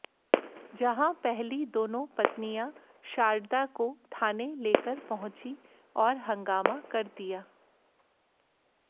जहां पहली दोनों पत्नियां शारदा को थाने लेकर पहुंचीं और हंगामा कर दिया